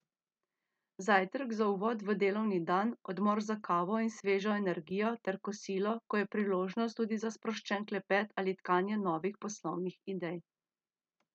Zajtrk za uvod v delovni dan, odmor za kavo in svežo energijo ter kosilo, ko je priložnost tudi za sproščen klepet ali tkanje novih poslovnih idej.